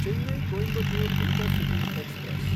Chennai Coimbatore intercity express